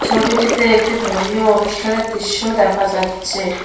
ছবিটিতে একটি ধর্মীয় অনুষ্ঠানের দৃশ্য দেখা যাচ্চে।